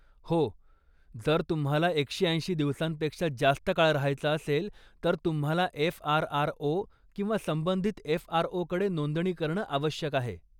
हो, जर तुम्हाला एकशे ऐंशी दिवसांपेक्षा जास्त काळ रहायचं असेल तर तुम्हाला एफआरआरओ किंवा संबंधित एफआरओकडे नोंदणी करणं आवश्यक आहे.